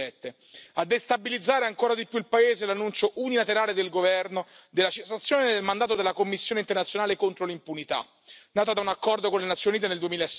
2017. A destabilizzare ancora di più il paese, l'annuncio unilaterale del governo della cessazione del mandato della Commissione internazionale contro l'impunità, nata da un accordo con le Nazioni Unite nel